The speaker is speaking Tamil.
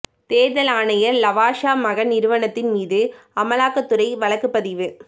தோ்தல் ஆணையா் லவாசா மகன் நிறுவனத்தின் மீதுஅமலாக்கத் துறை வழக்குப் பதிவு